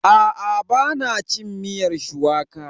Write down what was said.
Aa, ba na cin miyar shuwaka.